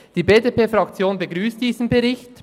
Die BDP-Fraktion begrüsst diesen Bericht.